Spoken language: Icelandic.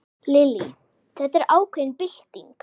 Lillý: Þetta er ákveðin bylting?